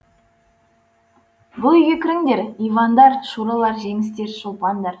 бұл үйге кіріңдер ивандар шуралар жеңістер шолпандар